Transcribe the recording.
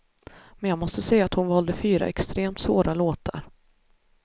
Men jag måste säga att hon valde fyra extremt svåra låtar.